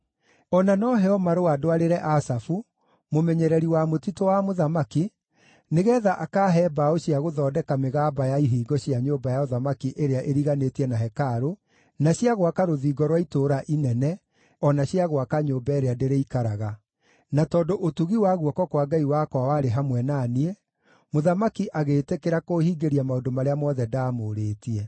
O na no heo marũa ndwarĩre Asafu, mũmenyereri wa mũtitũ wa mũthamaki, nĩgeetha akaahe mbaũ cia gũthondeka mĩgamba ya ihingo cia nyũmba ya ũthamaki ĩrĩa ĩriganĩtie na hekarũ, na cia gwaka rũthingo rwa itũũra inene o na cia gwaka nyũmba ĩrĩa ndĩrĩikaraga?” Na tondũ ũtugi wa guoko kwa Ngai wakwa warĩ hamwe na niĩ, mũthamaki agĩĩtĩkĩra kũũhingĩria maũndũ marĩa mothe ndaamũũrĩtie.